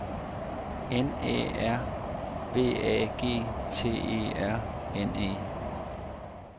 N Æ R V A G T E R N E